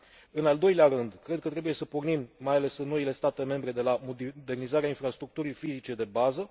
În al doilea rând, cred că trebuie să pornim, mai ales în noile state membre, de la modernizarea infrastructurii fizice de bază.